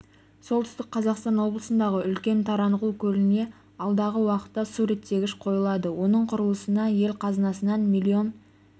солтүстік қазақстан облысындағы үлкен таранғұл көліне алдағы уақытта су реттегіш қойылады оның құрылысына ел қазынасынан миллион